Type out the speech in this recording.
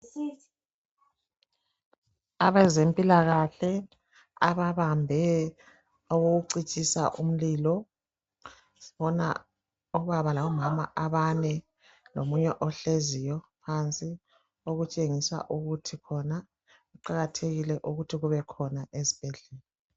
Abezempilakahle ababambe okokucitshisa umlilo. Sibona obaba labomama abane lomunye ohleziyo phansi, okutshengisa ukuthi khona kuqakathekile ukuthi kubekhona ezibhedlela.